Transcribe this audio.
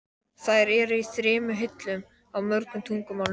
Þær eru í þremur hillum, á mörgum tungumálum.